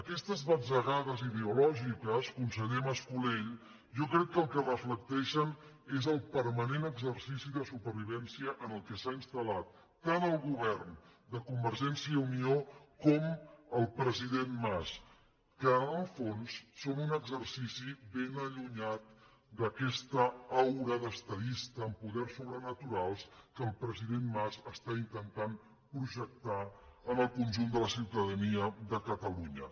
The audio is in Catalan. aquestes batzegades ideològiques conseller mas·colell jo crec que el que reflecteixen és el permanent exercici de supervivència en què s’han instal·lat tant el govern de convergència i unió com el president mas que en el fons són un exercici ben allunyat d’aquesta aura d’estadista amb poders sobrenaturals que el pre·sident mas està intentant projectar en el conjunt de la ciutadania de catalunya